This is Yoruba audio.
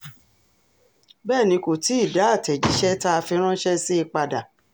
bẹ́ẹ̀ ni kò tí ì dá àtẹ̀jíṣẹ́ tá a fi ránṣẹ́ sí i padà